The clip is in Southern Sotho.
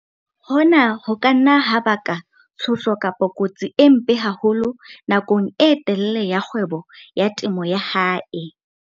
Hona ho ka nna ha baka tshoso kapa kotsi e mpe haholo nakong e telele ya kgwebo ya temo ya hae.